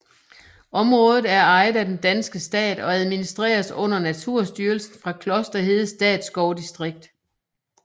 Området er ejet af den danske stat og administreres under Naturstyrelsen fra Klosterhede Statsskovdistrikt